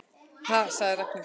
Ha sagði Ragnhildur.